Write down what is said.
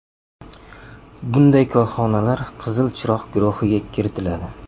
Bunday korxonalar ‘Qizil chiroq’ guruhiga kiritiladi.